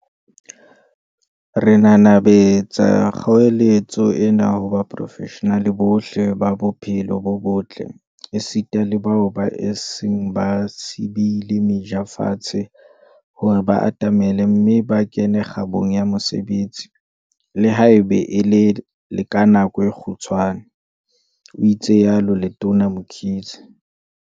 "Re nanabetsa kgoeletso ena ho baporofeshenale bohle ba bophelo bo botle, esita le bao ba seng ba beile meja fatshe, hore ba atamele mme ba kene kgabong ya mosebetsi, le haeba e le ka nako e kgutshwane," o itsalo Letona Mkhize.